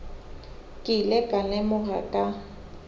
ke ile ka lemoga ka